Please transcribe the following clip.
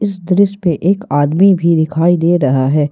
इस दृश्य पे एक आदमी भी दिखाई दे रहा है।